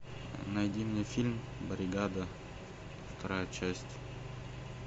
найди мне фильм бригада вторая часть